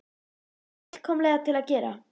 Ég treysti mér fullkomlega til að gera